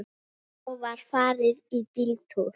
Þá var farið í bíltúr.